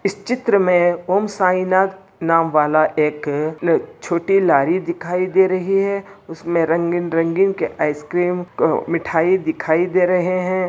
इस चित्र में ॐ साईनाथ नाम वाला एक नहीं छोटी लारी दिखाई दे रही है उसमे रंगीन-रंगीन के आइसक्रीम मिठाई दिखाई दे रहे है।